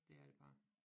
Det er det bare